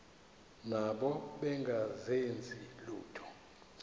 nabo bengazenzi lutho